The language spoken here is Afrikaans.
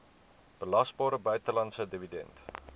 belasbare buitelandse dividend